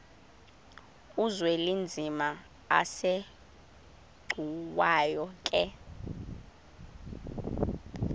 uzwelinzima asegcuwa ke